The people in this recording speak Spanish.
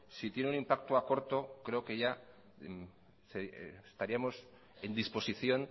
si tiene un impacto a corto creo que ya estaríamos en disposición